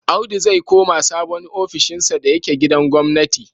Audu zai koma sabon ofishinsa da yake gidan gwamnati.